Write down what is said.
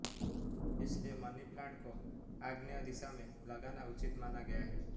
इसलिए money plant को आग्नेय दिशा में लगाना उचित माना गया है